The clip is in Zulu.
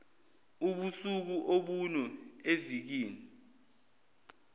ubusuku obune evikini